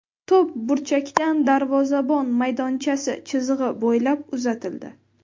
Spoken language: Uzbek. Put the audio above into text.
To‘p burchakdan darvozabon maydonchasi chizig‘i bo‘ylab uzatildi.